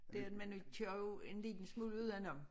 Den men vi kører jo en lille smule udenom